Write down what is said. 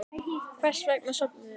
Hvers vegna sofum við?